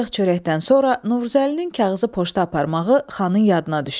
Ancaq çörəkdən sonra Novruzəlinin kağızı poçta aparmağı xanın yadına düşdü.